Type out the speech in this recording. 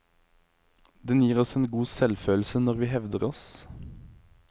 Den gir oss en god selvfølelse når vi hevder oss.